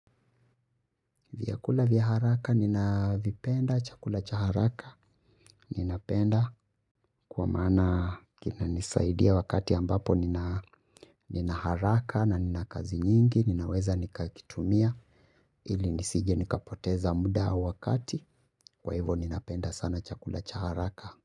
Vyakula vya haraka nina vipenda chakula cha haraka. Ninapenda kwa maana kina nisaidia wakati ambapo nina nina haraka na nina kazi nyingi ninaweza nikakitumia ili nisije nikapoteza muda wakati kwa hivyo ninapenda sana chakula cha haraka.